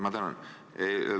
Ma tänan!